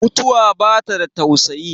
mutuwa ba ta da tausayi